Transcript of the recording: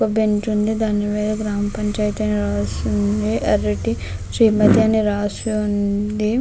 ఒక బెంచ్ ఉంది. దాని మీద గ్రామ పంచాయతీ అని రాసి ఉంది. ఎర్రటి శ్రీమతి అని రాసి ఉంది.